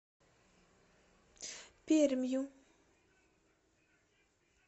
пермью